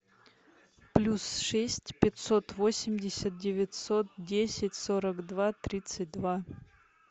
плюс шесть пятьсот восемьдесят девятьсот десять сорок два тридцать два